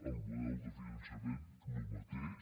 el model de finançament el mateix